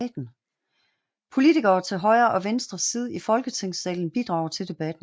Politikere til højre og venstre side i Folketingssalen bidrager til debatten